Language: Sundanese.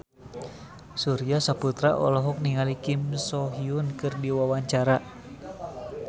Surya Saputra olohok ningali Kim So Hyun keur diwawancara